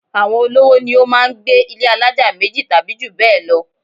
Àwọn olówó ni ó máá ń gbé ilé alájà méjì tàbí jù bẹ́ẹ̀ lọ